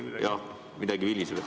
Jah, midagi viliseb.